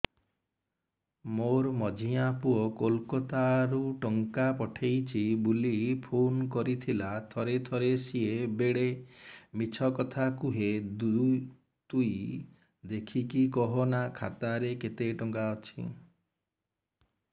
ମୋର ମଝିଆ ପୁଅ କୋଲକତା ରୁ ଟଙ୍କା ପଠେଇଚି ବୁଲି ଫୁନ କରିଥିଲା ଥରେ ଥରେ ସିଏ ବେଡେ ମିଛ କଥା କୁହେ ତୁଇ ଦେଖିକି କହନା ଖାତାରେ କେତ ଟଙ୍କା ଅଛି